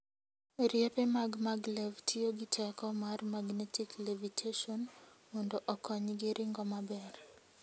Riepe mag maglev tiyo gi teko mar magnetic levitation mondo okonygi ringo maber.